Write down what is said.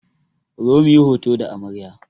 Ku zo muyi hoto da amarya!